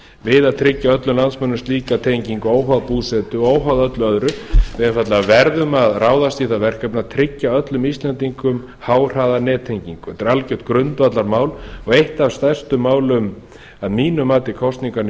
við að tryggja öllum landsmönnum slíka tengingu óháð búsetu og óháð öllu öðru við einfaldlega verðum að ráðast í það verkefni að tryggja öllum íslendingum háhraðanettengingu þetta er algjört grundvallarmál og eitt af stærstu málum að mínu mati kosninganna í